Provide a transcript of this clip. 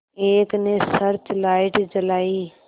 एक ने search light जलाई